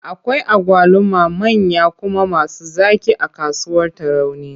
Akwai agwaluma manya kuma masu zaƙi a kasuwar Tarauni.